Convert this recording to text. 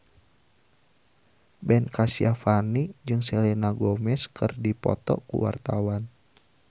Ben Kasyafani jeung Selena Gomez keur dipoto ku wartawan